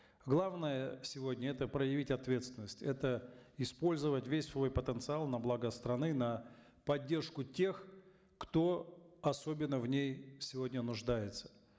главное сегодня это проявить ответственность это использовать весь свой потенциал на благо страны на поддержку тех кто особенно в ней сегодня нуждается